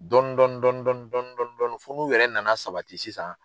Dɔnni dɔnni dɔnni dɔnni fo n'u yɛrɛ nana sabati sisan